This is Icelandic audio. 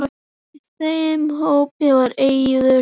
Í þeim hópi var Eiður.